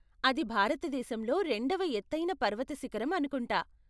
అది భారతదేశంలో రెండవ ఎత్తైన పర్వత శిఖరం అనుకుంటా?